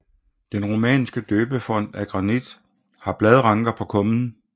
Den romanske døbefont af granit har bladranker på kummen